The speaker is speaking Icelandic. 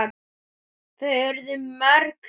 Þau urðu mörg síðan.